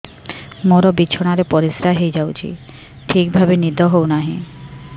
ମୋର ବିଛଣାରେ ପରିସ୍ରା ହେଇଯାଉଛି ଠିକ ଭାବେ ନିଦ ହଉ ନାହିଁ